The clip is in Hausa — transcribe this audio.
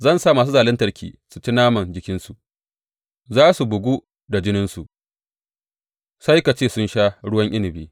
Zan sa masu zaluntarki su ci naman jikinsu; za su bugu da jininsu, sai ka ce sun sha ruwan inabi.